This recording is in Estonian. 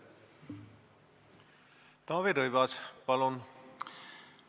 Taavi Rõivas, palun!